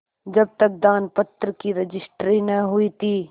जब तक दानपत्र की रजिस्ट्री न हुई थी